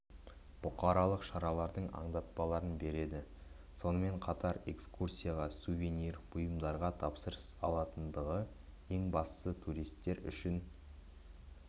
бұқаралық шаралардың аңдатпаларын береді сонымен қатар экскурсияға сувенир бұйымдарға тапсырыс алатындығы ең бастысы туристер үшін